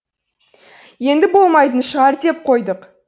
енді болмайтын шығар деп қойдық